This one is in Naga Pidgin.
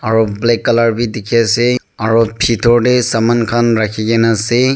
aru black colour dekhi ase aru phetor te saile tu saman khan rakhi kina ase.